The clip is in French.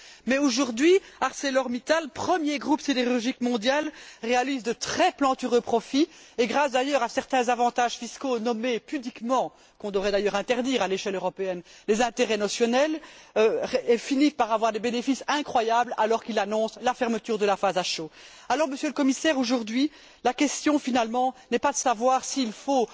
Mais aujourd'hui, ArcelorMittal, premier groupe sidérurgique mondial, réalise de très plantureux profits et grâce, d'ailleurs, à certains avantages fiscaux que l'on devrait d'ailleurs interdire à l'échelle européenne nommés pudiquement intérêts notionnels, finit par avoir des bénéfices incroyables, alors qu'il annonce la fermeture de la phase à chaud à Liège. Alors, Monsieur le Commissaire, aujourd'hui, la question, finalement, n'est pas de savoir s'il faut